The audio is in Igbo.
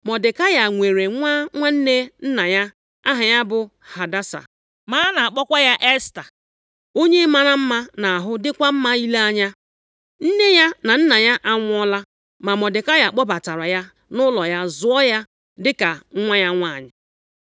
Mọdekai nwere nwa nwanne nna ya, aha ya bụ Hadasa, ma a na-akpọkwa ya Esta, onye mara mma nʼahụ dịkwa mma ile anya. Nne ya na nna ya anwụọla, ma Mọdekai kpọbatara ya nʼụlọ ya zụọ ya dịka nwa ya nwanyị.